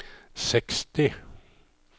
seksti